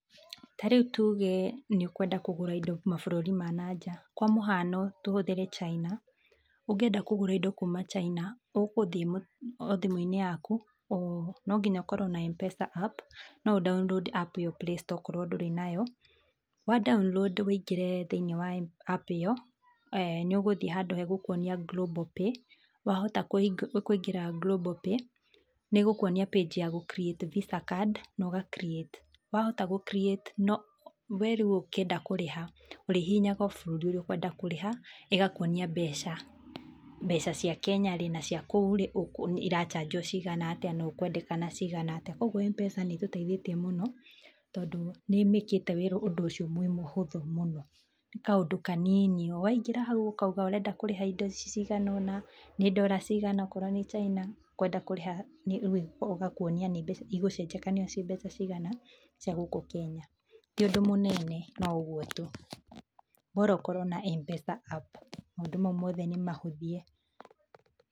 Tarĩu tuuge nĩ ũkwenda kũgũra indo mabũrũri ma na nja kwa mũhano tũhũthĩre china, ũngĩenda kũgũra indo kuuma china, ũgũthiĩ o thimũinĩ yaku, no nginya ũkorwo na mpesa app no ũ download app ĩyo playstore okorwo ndũrĩ nayo, wa download uingĩre thiiniĩ wa app ĩyo, ni ũgũthiĩ handũ hegũkuonia global pay, wahota kũingĩra global pay, ni ĩgũkwonia page ya gũ create visa card na ũga create . Wahota gũ create no, we rĩũ ũkĩenda kũrĩha ũrĩhihinyaga o bũrũri ũrĩa ũkwenda kũrĩha ĩgakũonia mbeca, mbeca cia Kenya-rĩ na cia kũu-rĩ ira chanjwo cigana atĩa na ũkwendekana cigana atĩa. Koguo mpesa nĩĩtũteithĩtie mũno tondũ nĩ ĩmĩĩkĩte ũndũ ũcio mũhũthũ mũno – kaũndũ kaniini, waingĩra hau ũkauga ũrenda kũrĩha indo ici cigana ona, nĩ dollar cigana okorwo wĩ china ũkwenda kũrĩha, o ĩgakũonia ni mbeca, igũcenjekania ciĩ mbeca cigana cia gũkũ Kenya, ti ũndũ mũnene no ũguo tu bora ũkorwo na mpesa app maũndũ mau moothe nĩ mahũthie.